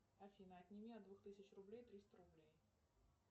афина отними от двух тысяч рублей триста рублей